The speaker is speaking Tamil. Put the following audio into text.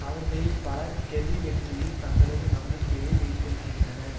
அவர்களில் பலர் கெர்ரி வெற்றியில் தங்களது நம்பிக்கையை வைத்திருக்கின்றனர்